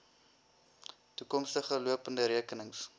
toekomstige lopende rekenings